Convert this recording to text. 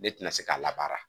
Ne ti na se ka labaara.